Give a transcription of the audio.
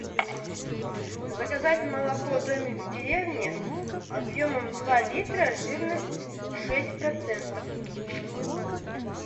заказать молоко домик в деревне объемом два литра жирность шесть процентов